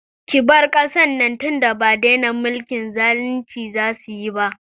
Ki bar kasar nan tinda ba dena mulkin zalinci za su yi ba!